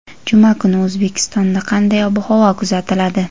Juma kuni O‘zbekistonda qanday ob-havo kuzatiladi?.